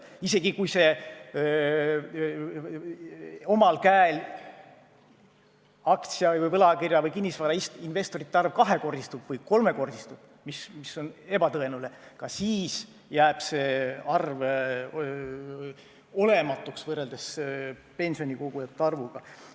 Ja isegi kui omal käel aktsia-, võlakirja- või kinnisvarainvestorite arv kahekordistub või kolmekordistub, mis on ebatõenäoline, ka siis jääb see arv pea olematuks võrreldes pensionikogujate arvuga.